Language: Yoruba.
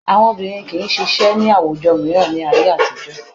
Àwọn obìnrin kì í ṣe iṣẹ́ ní àwùjọ mìíràn ní ayé àtijọ́